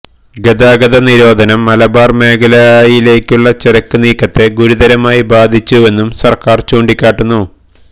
ഗതാഗത നിരോധനം മലബാര് മേഖലയിലേക്കുള്ള ചരക്ക് നീക്കത്തെ ഗുരുതരമായി ബാധിച്ചുവെന്നും സര്ക്കാര് ചൂണ്ടിക്കാട്ടുന്നു